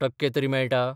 टक्के तरी मेळटा?